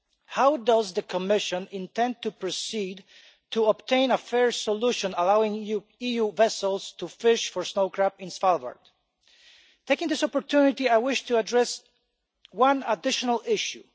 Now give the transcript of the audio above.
How does the Commission intend to proceed to obtain a fair solution allowing EU vessels to fish for snow crab in Svalbard? Taking this opportunity, I wish to address one additional issue.